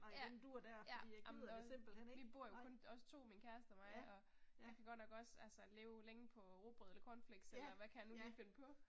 Ja, ja, amen og vi bor jo kun os 2, min kæreste og mig og vi kan godt nok også altså leve længe på rugbrød eller cornflakes eller hvad kan vi lige finde på